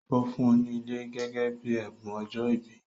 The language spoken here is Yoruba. Ó fún ùn ní ilẹ̀ gẹ́gẹ́ bíi ẹ̀bùn ọjọ́ ìbí